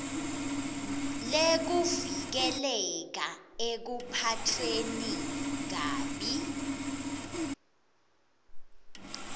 lekuvikeleka ekuphatfweni kabi